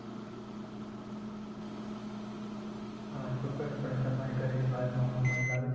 હા ચોક્કસપણે તમારી કહેલી વાતમાં હું અમલ લાવીશ.